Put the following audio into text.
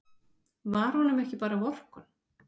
Var honum ekki bara vorkunn?